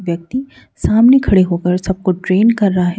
व्यक्ति सामने खड़े होकर सबको ट्रेन कर रहा है।